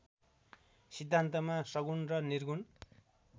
सिद्धान्तमा सगुण र निर्गुण